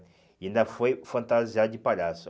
E ainda foi fantasiado de palhaço.